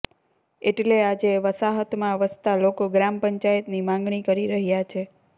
એટલે આજે વસાહતમાં વસતા લોકો ગ્રામપંચાયતની માંગણી કરી રહ્યા છે